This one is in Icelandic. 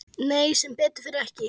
Nei sem betur fer ekki.